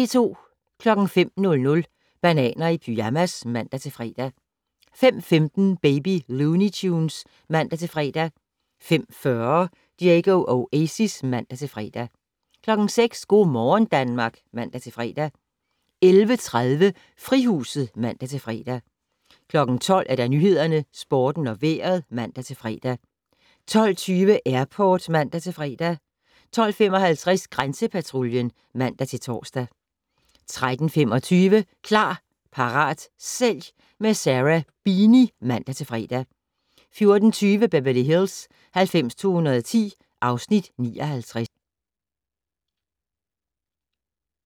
05:00: Bananer i pyjamas (man-fre) 05:15: Baby Looney Tunes (man-fre) 05:40: Diego Oasis (man-fre) 06:00: Go' morgen Danmark (man-fre) 11:30: Frihuset (man-fre) 12:00: Nyhederne, Sporten og Vejret (man-fre) 12:20: Airport (man-fre) 12:55: Grænsepatruljen (man-tor) 13:25: Klar, parat, sælg - med Sarah Beeny (man-fre) 14:20: Beverly Hills 90210 (Afs. 59)